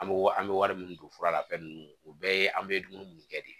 An bɛ an bɛ wari min don fura la fɛn ninnu o bɛɛ ye an bɛ dumuni minnu kɛ de